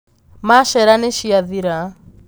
Machera niciathira.